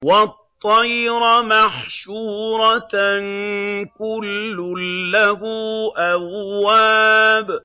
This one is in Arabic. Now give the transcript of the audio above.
وَالطَّيْرَ مَحْشُورَةً ۖ كُلٌّ لَّهُ أَوَّابٌ